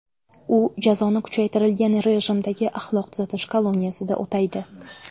U jazoni kuchaytirilgan rejimdagi axloq tuzatish koloniyasida o‘taydi.